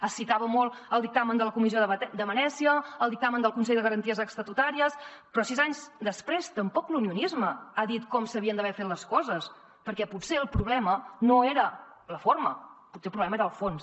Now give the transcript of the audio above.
es citava molt el dictamen de la comissió de venècia el dictamen del consell de garanties estatutàries però sis anys després tampoc l’unionisme ha dit com s’havien d’haver fet les coses perquè potser el problema no era la forma potser el problema era el fons